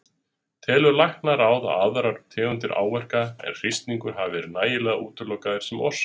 Telur Læknaráð að aðrar tegundir áverka en hristingur hafi verið nægilega útilokaðir sem orsök?